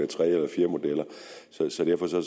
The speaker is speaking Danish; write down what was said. tredje eller fjerde model så derfor